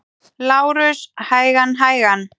LÁRUS: Hægan, hægan!